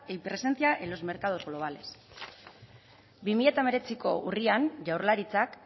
y presencia en los mercados globales bi mila hemeretziko urrian jaurlaritzak